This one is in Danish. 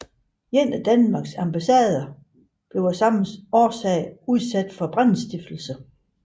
En af Danmarks ambassader blev af samme årsag udsat for brandstiftelse